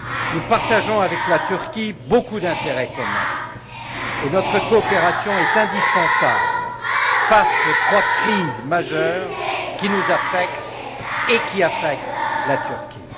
Nous partageons avec la Turquie beaucoup d'intérêts communs et notre coopération est indispensable face aux trois crises majeures qui nous affectent et qui affectent la Turquie.